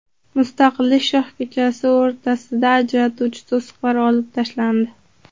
Mustaqillik shoh ko‘chasi o‘rtasidagi ajratuvchi to‘siqlar olib tashlandi .